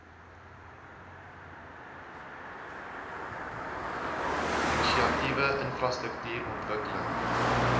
inisiatiewe infrastruktuur ontwikkeling